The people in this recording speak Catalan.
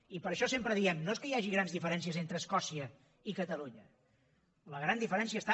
i per això sempre diem no és que hi hagi grans diferèn cies entre escòcia i catalunya la gran diferència està